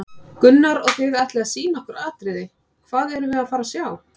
Gunnar: Og þið ætlið að sýna okkur atriði, hvað erum við að fara að sjá?